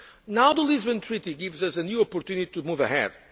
Now the Lisbon Treaty gives us a new opportunity to move